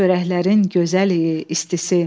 Çörəklərin gözəl idi istisi.